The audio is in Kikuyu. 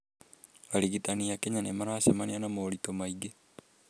Arigitani a Kenya nĩ maracemania na moritũ maingĩ